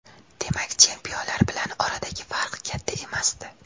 Demak, chempionlar bilan oradagi farq katta emasdi.